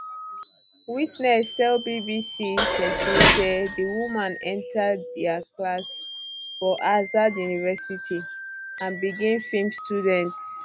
witness tell bbc um persian say di woman enta dia class for azad university and begin feem students um